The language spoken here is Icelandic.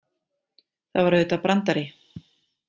Það var auðvitað brandari.